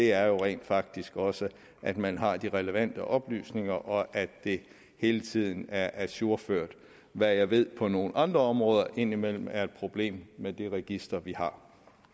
er jo rent faktisk også at man har de relevante oplysninger og at de hele tiden er ajourført hvad jeg ved på nogle andre områder indimellem er et problem med det register vi har